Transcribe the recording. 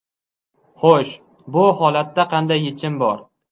Xo‘sh, bu holatda qanday yechim bor?